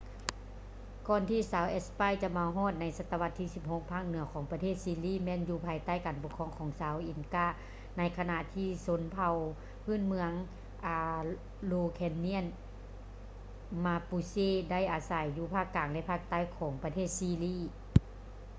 ກ່ອນທີ່ຊາວແອັດສະປາຍຈະມາຮອດໃນສະຕະວັດທີ 16 ພາກເໜືອ ຂອງປະເທດຊີລີ ແມ່ນຢູ່ພາຍໃຕ້ການປົກຄອງຂອງຊາວ ອິນກາ inca ໃນຂະນະທີ່ຊົນເຜົ່າພື້ນເມືອງ ອາໂຣແຄນຽນ araucanians ມາປູເຊ mapuche ໄດ້ອາໄສຢູ່ພາກກາງ ແລະ ພາກໃຕ້ຂອງປະເທດຊີລີ